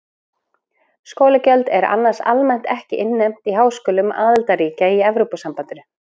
Skólagjöld eru annars almennt ekki innheimt í háskólum aðildarríkja í Evrópusambandinu.